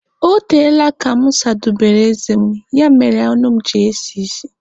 Ọ teela aka mụ sadobere eze mụ, ya mere ọnụ mụ ji esi isi